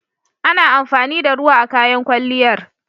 Ana amfani da ruwa a kayan kwalliyar.